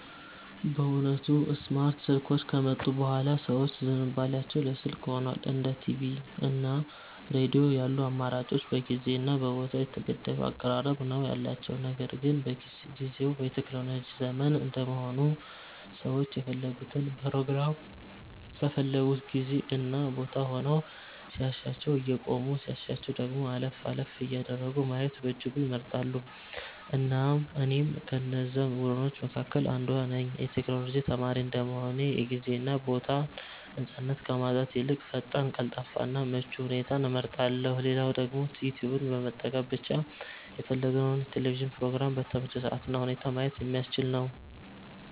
በእውነቱ ስማርት ስልኮች ከመጡ ቡሃላ ሰዎች ዝንባሊያቸው ለ ስልክ ሁኗል። እንደ ቲቪ እና ሬዲዮ ያሉ አማራጮች በጊዜ እና ቦታ የተገደበ አቀራረብ ነው ያላቸው። ነገር ግን ጊዝው የቴክኖሎጂ ዘመን እንደመሆኑ ሰዎች የፈለጉትን ፕሮግራም በፈለጉት ጊዜ እና ቦታ ሆነው ሲያሻቸው እያቆሙ ሲያሻቸው ደግሞ አለፍ አለፍ እያደረጉ ማየትን በእጅጉ ይመርጣሉ። እኔም ከነዛ ቡድኖች መካከል አንዷ ነኝ። የ ቴክኖሎጂ ተማሪ እንደመሆኔ የ ጊዜ እና ቦታን ነፃነት ከማጣት ይልቅ ፈጣን፣ ቀልጣፋ እና ምቹ ሁኔታን እመርጣለው። ሌላው ደግሞ ዩትዩብን በመጠቀም ብቻ የፈለግከውን የ ቴሌቪዥን ፕሮግራም በተመቸህ ሰአት እና ሁኔታ ማየት የሚያስችል ነው።